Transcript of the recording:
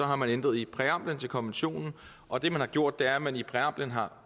har man ændret i præamblen til konventionen og det man har gjort er at man i præamblen har